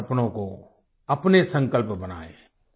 उनके सपने को अपने संकल्प बनाएं